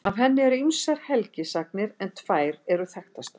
Af henni eru ýmsar helgisagnir en tvær eru þekktastar.